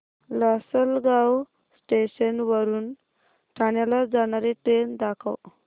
Lasalgaon station वरून ठाण्याला जाणारी ट्रेन दाखव